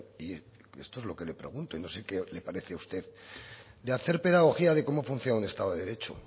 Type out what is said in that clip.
y esto es lo que le pregunto y no sé qué le parece a usted de hacer pedagogía de cómo funciona un estado de derecho